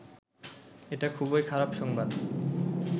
এটা খুবই খারাপ সংবাদ